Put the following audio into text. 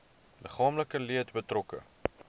liggaamlike leed betrokke